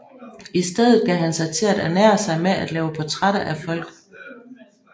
I stedet gav han sig til at ernære sig med at lave portrætter af folk